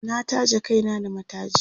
na taje Kai na da mataji